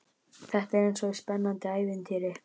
Þetta er eins og í spennandi ævintýri.